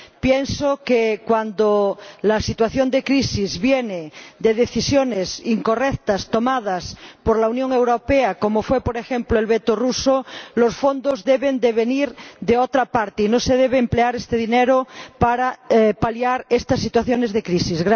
Pienso que cuando la situación de crisis viene de decisiones incorrectas tomadas por la Unión Europea, como fue, por ejemplo, el veto ruso, los fondos deben venir de otra parte y no se debe emplear este dinero para paliar estas situaciones de crisis.